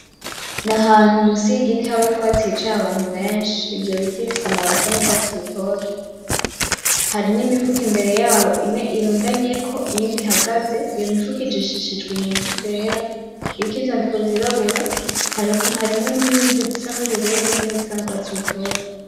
N'ahantu munsi yigiti haba utwatsi hicaye abantu benshi. Ivyo biti bifise amababi asa n'urwatsi rutoto, Hariho imifuko imbere yabo, imwe irundanyeko niyindi ihagaze. Iyo mifuko ijishishijwe inyuzi zera iriko ivyandiko vyirabura harimwo ninyuzi zisa nubururu nizindi nurwtatsi rutoto.